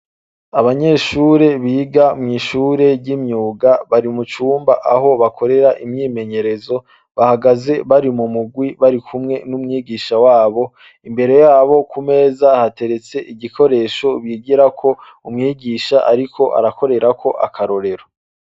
Abanyeshure biga mwishure ry'imyuga barimucumba aho bakorera imyimenyerezo bahagaze barimumurwi barikumwe n'umwigisha wabo mbere yabo kumeza hateretse igikoresho bigirako umwigisha ariko arakorerako akororero.